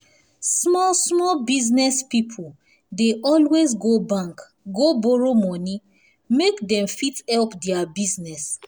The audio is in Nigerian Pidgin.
small small business people dey always go bank go borrow money make dem fit help their business